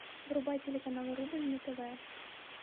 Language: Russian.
врубай телеканал рубль на тв